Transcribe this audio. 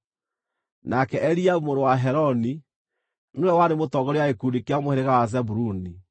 nake Eliabu mũrũ wa Heloni nĩwe warĩ mũtongoria wa gĩkundi kĩa mũhĩrĩga wa Zebuluni.